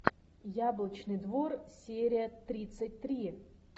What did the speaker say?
яблочный двор серия тридцать три